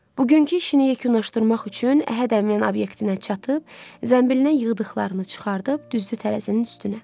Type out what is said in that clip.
Bugünkü işini yekunlaşdırmaq üçün Əhəd Əminin obyektinə çatıb, zənbilinə yığdıqlarını çıxarıb, düzdü tərəzinin üstünə.